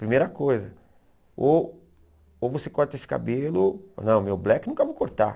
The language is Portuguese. Primeira coisa, ou ou você corta esse cabelo, ou não, meu black nunca vou cortar.